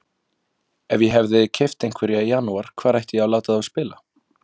Ef ég hefði keypt einhverja í janúar hvar ætti ég þá að láta þá spila?